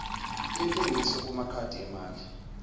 yentengiso kumakhadi emali